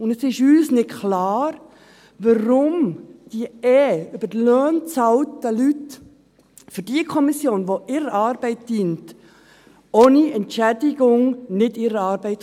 Es ist uns nicht klar, warum diese sowieso über die Löhne bezahlten Leute für diese Kommission, die ihrer Arbeit dient, nicht ohne Entschädigung arbeiten können.